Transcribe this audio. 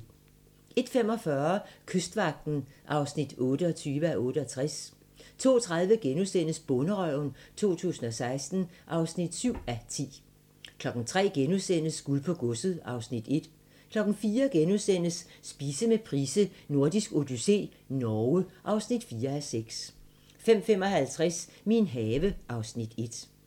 01:45: Kystvagten (28:68) 02:30: Bonderøven 2016 (7:10)* 03:00: Guld på godset (Afs. 1)* 04:00: Spise med Price: Nordisk odyssé - Norge (4:6)* 05:55: Min have (Afs. 1)